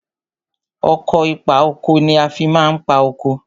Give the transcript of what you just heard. Ọkọ̀ ìpa oko ni a fi ma ń pa oko.